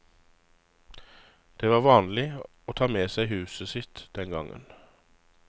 Det var vanlig å ta med seg huset sitt den gangen.